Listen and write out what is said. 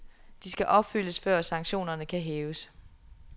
De skal opfyldes, før sanktionerne kan hæves.